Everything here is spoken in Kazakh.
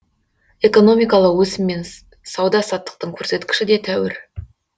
экономикалық өсім мен сауда саттықтың көрсеткіші де тәуір